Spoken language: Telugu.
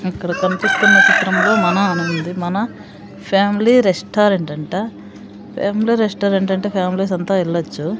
ఇక్కడ కనిపిస్తున్న చిత్రంలో మన అని ఉంది మన ఫ్యామిలీ రెస్టారెంట్ అంట ఫ్యామిలీ రెస్టారెంట్ అంటే ఫ్యామిలీస్ అంతా ఎళ్లొచ్చు.